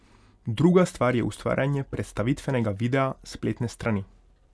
Druga stvar je ustvarjanje predstavitvenega videa, spletne strani ...